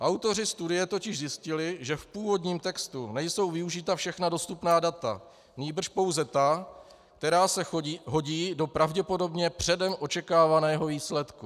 Autoři studie totiž zjistili, že v původním textu nejsou využita všechna dostupná data, nýbrž pouze ta, která se hodí do pravděpodobně předem očekávaného výsledku.